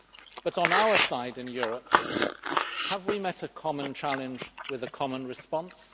But, on our side in Europe, have we met a common challenge with a common response?